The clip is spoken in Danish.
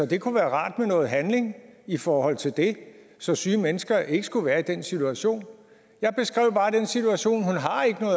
det kunne være rart med noget handling i forhold til det så syge mennesker ikke skulle være i den situation jeg beskrev altså bare den situation